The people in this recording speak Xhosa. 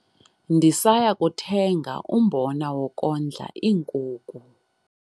Ndisaya kuthenga umbona wokondla iinkuku.